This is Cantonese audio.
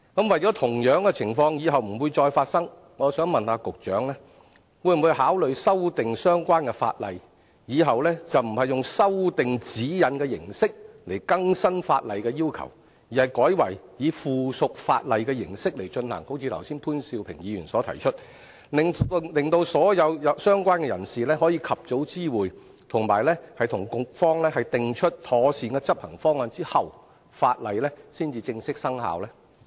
為了避免日後再次發生同樣情況，我想問局長會否考慮修訂相關法例，使日後不用透過修訂《指引》的形式來更新法例要求，而是改為以附屬法例的形式來進行，好像潘兆平議員剛才所提出，令所有相關人士可以在及早獲知會的情況下，以及與局方訂出妥善的執行方案之後，法例才正式生效呢？